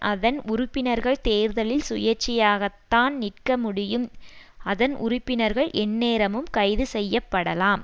அதன் உறுப்பினர்கள் தேர்தலில் சுயேச்சையாகத்தான் நிற்க முடியும் அதன் உறுப்பினர்கள் எந்நேரமும் கைது செய்ய படலாம்